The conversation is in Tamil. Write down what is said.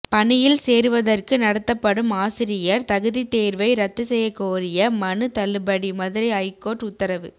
பணியில் சேருவதற்கு நடத்தப்படும் ஆசிரியர் தகுதித்தேர்வை ரத்து செய்யக்கோரிய மனு தள்ளுபடி மதுரை ஐகோர்ட்டு உத்தரவு